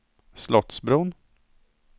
Slottsbron